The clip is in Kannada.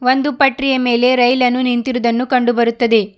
ಒಂದು ಪಟ್ರಿಯ ಮೇಲೆ ರೈಲನ್ನು ನಿಂತಿರುವುದನ್ನು ಕಂಡು ಬರುತ್ತದೆ.